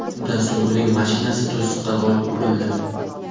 Shundan so‘ng, uning mashinasi to‘siqqa borib urildi.